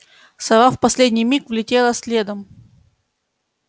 сова в последний миг влетела следом